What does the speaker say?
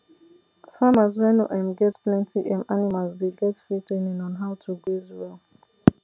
farmers wey no um get plenty um animals dey get free training on how to graze well